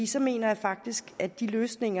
så mener jeg faktisk at den løsning